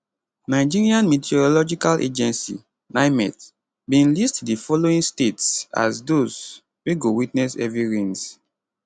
nigerian meteorological agency nimet bin list di following states as thpose wey go witness heavy rains